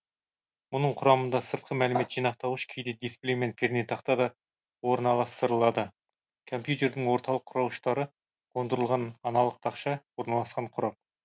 бұның құрамында сыртқы мәлімет жинақтауыш кейде дисплей мен пернетақта да орналастырылады компьютердің орталық құрауыштары қондырылған аналық тақша орналасқан қорап